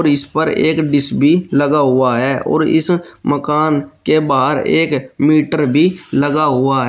इस पर एक डिश भी लगा हुआ है और इस मकान के बाहर एक मीटर भी लगा हुआ है।